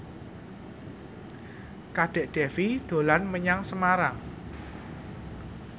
Kadek Devi dolan menyang Semarang